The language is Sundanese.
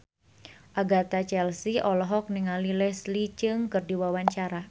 Agatha Chelsea olohok ningali Leslie Cheung keur diwawancara